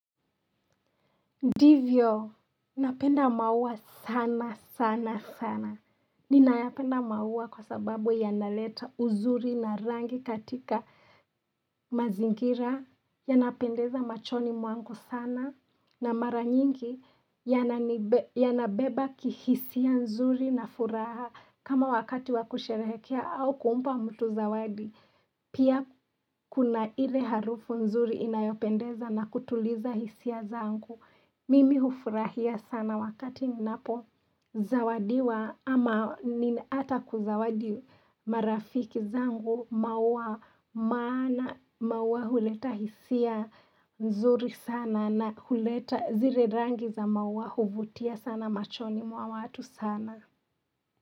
Ndivyo, napenda maua sana, sana, sana. Ninayapenda maua kwa sababu yanaleta uzuri na rangi katika mazingira, yanapendeza machoni mwangu sana, na mara nyingi yanabeba kihisia nzuri na furaha. Kama wakati wa kusherehekea au kumpa mtu zawadi, pia kuna ile harufu nzuri inayopendeza na kutuliza hisia zangu. Mimi hufurahia sana wakati ninapo zawadiwa ama nina ata kuzawadi marafiki zangu maua maana maua huleta hisia nzuri sana na huleta zile rangi za maua huvutia sana machoni mwa watu sana.